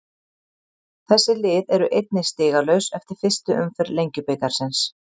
Þessi lið eru einnig stigalaus eftir fyrstu umferð Lengjubikarsins.